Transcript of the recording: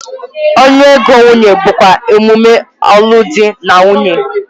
Ọnụ ego nwunye bụkwa emume alụmdi na nwunye.